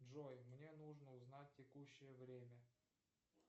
джой мне нужно узнать текущее время